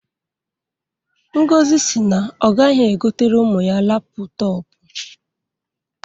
Ngozi si na ọ gaghị egotere ụmụ ya laptọpụ